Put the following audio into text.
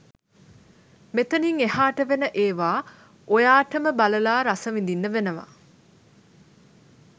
මෙතනිං එහාට වෙන ඒවා ඔයාටම බලලා රසවිඳින්න වෙනවා.